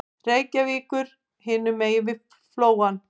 Reykjavíkur hinum megin við Flóann.